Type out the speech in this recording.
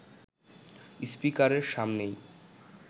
স্পিকারের সামনেই